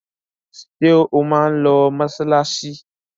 Ṣé ó máa lọ mọṣáláṣí?